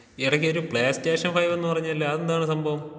എടക്കൊരു PlayStation ഫൈവെന്ന് പറഞ്ഞല്ലോ അതെന്താണ് സംഭവം?